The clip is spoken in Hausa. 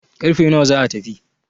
karfe nawa za a tafi?